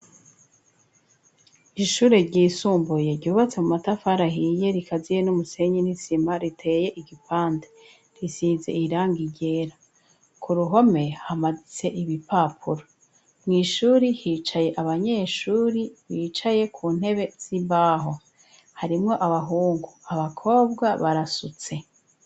Ishure ry'isumbuye ryubatse mu matafara hiye rikaziye n'umusenyi n'isima riteye igipande risize irangi ryera ku ruhome hamanitse ibipapuro mu ishuri hicaye abanyeshuri bicaye ku ntebe z'imbaho harimwo abahungu abakobwa barasutse.